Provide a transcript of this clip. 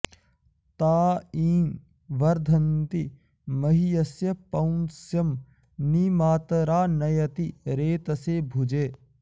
ता ईं॑ वर्धन्ति॒ मह्य॑स्य॒ पौंस्यं॒ नि मा॒तरा॑ नयति॒ रेत॑से भु॒जे